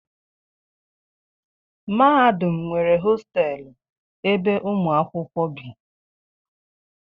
mahadum nwere hostelụ ebe ụmụ akwụkwọ bi